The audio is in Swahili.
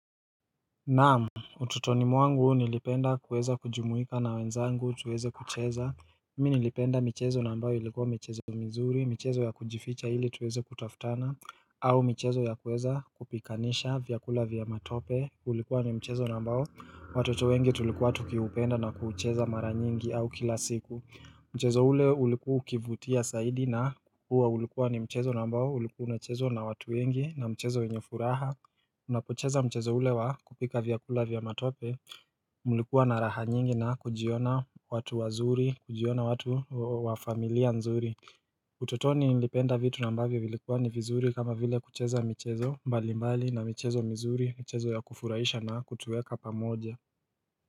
Naam, ututoni mwangu nilipenda kuweza kujumuika na wenzangu tuweze kucheza Mi nilipenda michezo na ambayo ilikuwa michezo mizuri, michezo ya kujificha hili tuweze kutaftana au michezo ya kuweza kupikanisha vyakula vya matope, ulikuwa ni mchezo nambao watoto wengi tulikuwa tukiupenda na kuucheza mara nyingi au kila siku Mchezo ule uliku ukivutia saidi na kukua ulikuwa ni mchezo nambao ulikuuna chezo na watu wengi na mchezo wenye furaha Unapocheza mchezo ule wa kupika vyakula vya matope Mlikuwa na raha nyingi na kujiona watu wazuri, kujiona watu wa familia nzuri utotoni nilipenda vitu na mbavyo vilikuwa ni vizuri kama vile kucheza mchezo mbali mbali na mchezo mzuri, mchezo ya kufuraisha na kutueka pamoja.